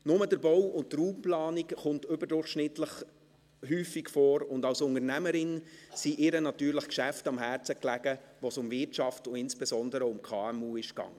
Nur der Bau und die Raumplanung kommen überdurchschnittlich häufig vor, und als Unternehmerin lagen ihr natürlich Geschäfte am Herzen, bei denen es um Wirtschaft und insbesondere um KMU ging.